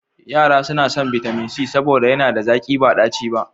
Yara suna son bitamin c saboda yana da zaƙi ba ɗaci ba.